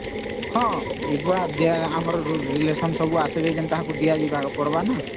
ହଁ ଯିଏ ଆସିବେ ଆମର relation ସମସ୍ତଙ୍କୁ ଦିଅ ଜୀବକେ ପଡିବା